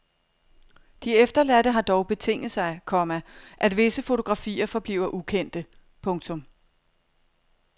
De efterladte har dog betinget sig, komma at visse fotografier forbliver ukendte. punktum